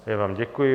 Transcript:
Já vám děkuji.